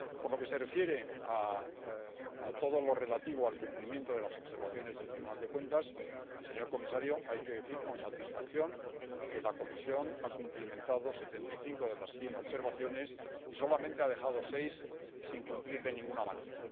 Por lo que se refiere a todo lo relativo al cumplimiento de las observaciones del Tribunal de Cuentas, señor comisario, hay que decir con satisfacción que la Comisión ha cumplimentado setenta y cinco de las cien observaciones y solamente ha dejado seis sin cumplir de ninguna manera.